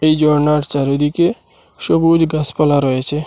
এই জর্ণার চারিদিকে সবুজ গাসপালা রয়েছে।